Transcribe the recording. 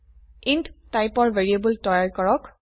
int টাইপৰ variable তৈয়াৰ কৰক